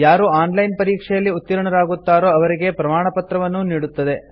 ಯಾರು online ಪರೀಕ್ಷೆಯಲ್ಲಿ ಉತ್ತೀರ್ಣರಾಗುತ್ತಾರೋ ಅವರಿಗೆ ಪ್ರಮಾಣಪತ್ರವನ್ನೂ ನೀಡುತ್ತದೆ